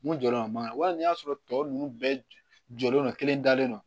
Mun jɔlen don a ma wali n'i y'a sɔrɔ tɔ ninnu bɛɛ jɔlen don kelen dalen don